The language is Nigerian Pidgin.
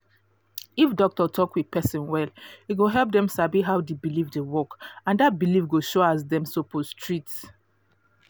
if doctor talk with person well e go help dem sabi how the belief dey work and that belief go showas dem suppose treat